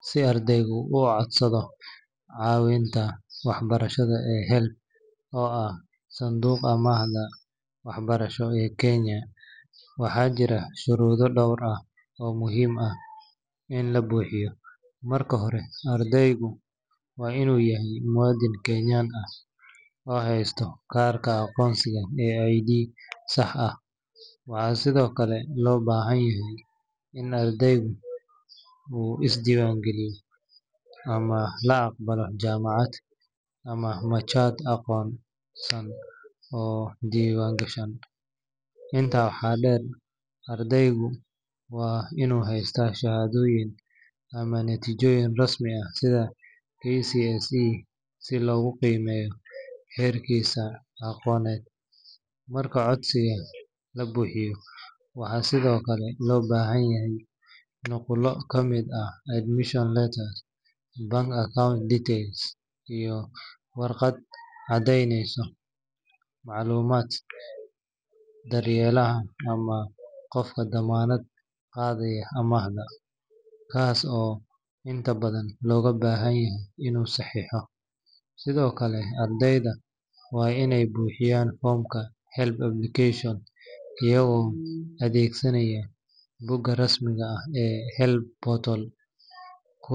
Si ardaygu u codsado caawinta waxbarasho ee HELB oo ah sanduuqa amaahda waxbarasho ee Kenya, waxaa jira shuruudo dhowr ah oo muhiim ah in la buuxiyo. Marka hore, ardaygu waa inuu yahay muwaadin Kenyan ah oo haysta kaarka aqoonsiga ee ID sax ah. Waxaa sidoo kale loo baahan yahay in ardaygu uu isdiiwaangeliyey ama la aqbalay jaamacad ama machad aqoonsan oo diiwaangashan. Intaa waxaa dheer, ardaygu waa inuu hayaa shahaadooyin ama natiijooyin rasmi ah sida KCSE si loogu qiimeeyo heerkiisa aqooneed. Marka codsiga la buuxinayo, waxaa sidoo kale loo baahan yahay nuqullo ka mid ah admission letter, bank account details, iyo warqad caddeyneysa macluumaadka daryeelaha ama qofka dammaanad qaadayaa amaahda, kaas oo inta badan looga baahan yahay inuu saxiixo. Sidoo kale, ardaydu waa inay buuxiyaan foomka HELB application iyagoo adeegsanaya bogga rasmiga ah ee HELB portal.